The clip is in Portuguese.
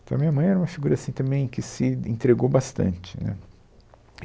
Então, a minha mãe era uma figura assim também que se entregou bastante, né